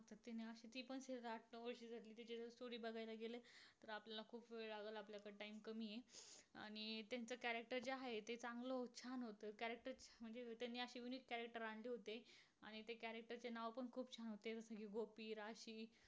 ते सर्व बघायला गेल तर आपल्याला खूप वेळ लागेल. आपल्याकड time कमी आहे. आणि त्याचं character जे आहे ते चांगल उत्साह मिळतो. character म्हणजे त्यांनी असे unique character आणले होते. आणि त्या character नाव खूप छान होते. म्हणजे गोपी राशी